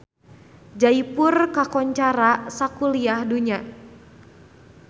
Jaipur kakoncara sakuliah dunya